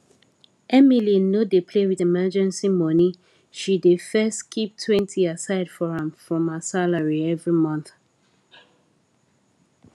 emily no dey play with emergency money she dey first keeptwentyaside for am from her salary every month